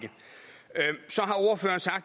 jeg